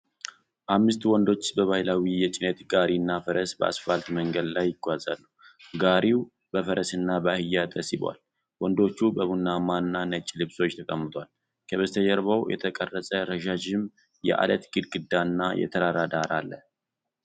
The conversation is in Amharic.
አምስት ወንዶች በባህላዊ የጭነት ጋሪና ፈረስ በአስፋልት መንገድ ላይ ይጓዛሉ። ጋሪው በፈረስና በአህያ ተስቧል፤ ወንዶቹ በቡናማና ነጭ ልብሶች ተቀምጠዋል። ከበስተጀርባው የተቀረጸ፣ ረዣዥም የዐለት ግድግዳ እና የተራራ ዳራ አለ።